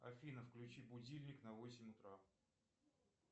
афина включи будильник на восемь утра